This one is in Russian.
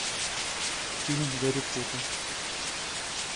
фильм гарри поттер